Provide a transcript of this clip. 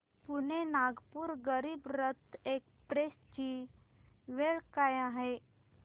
Pune Nagpur Garib Rath express ची वेळ काय आहे